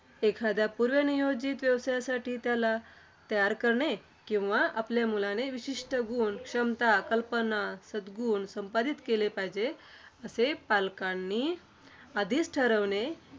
एखाद्या पूर्वनियोजित व्यवसायासाठी त्याला तयार करणे. किंवा आपल्या मुलाने हे विशिष्ट गुण, क्षमता, कल्पना, सद्गुण संपादित केले पाहिजेत असे पालकांनी आधीच ठरविणे.